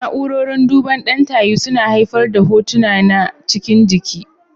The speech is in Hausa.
Na'urorin duban ɗan tayi suna haifar da hotuna na cikin jiki.